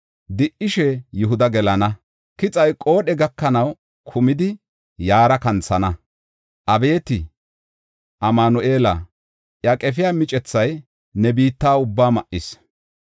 Di77ishe Yihuda gelana; kixay qoodhe gakanaw kumidi yaara kanthana.” Abeeti Amanu7eela, iya qefiya micethay ne biitta ubbaa ma7is.